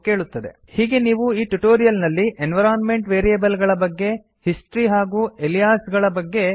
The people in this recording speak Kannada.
ಹೀಗೆ ನೀವು ಈ ಟ್ಯುಟೋರಿಯಲ್ ನಲ್ಲಿ ಎನ್ವಿರೋನ್ಮೆಂಟ್ ವೇರಿಯೇಬಲ್ ಗಳ ಬಗ್ಗೆ ಹಿಸ್ಟ್ರಿ ಹಾಗೂ ಅಲಿಯಾಸಿಂಗ್ ಗಳ ಬಗ್ಗೆ ಕಲಿತಿರಿ